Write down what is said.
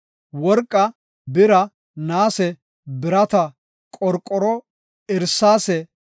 Worqa, bira, naase, birata, qorqoro, irsaase,